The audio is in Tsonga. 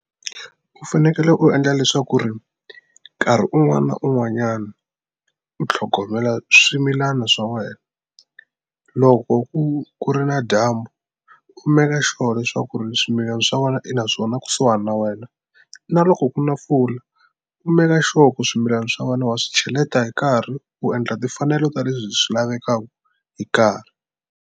U fanekele u endla leswaku ri nkarhi un'wani na un'wanyani u tlhogomela swimilana swa wena loko ku ku ri na dyambu u meka sure leswaku ri swimilana swa wena i naswona kusuhani na wena na loko ku na mpfula u meka sure ku swimilani swa wena wa swi cheleta hi nkarhi u endla timfanelo ta leswi swi lavekaku hi nkarhi.